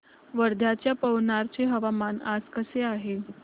वर्ध्याच्या पवनार चे हवामान आज कसे आहे